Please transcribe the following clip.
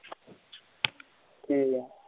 ਕਿ ਆ